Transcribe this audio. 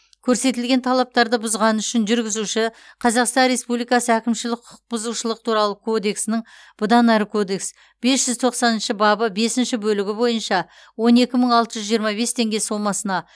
көрсетілген талаптарды бұзғаны үшін жүргізуші қазақстан республикасы әкімшілік құқық бұзушылық туралы кодексінің бұдан әрі кодекс бес жүз тоқсаныншы бабы бесінші бөлігі бойынша он екі мың алты жүз жиырма бес теңге сомасына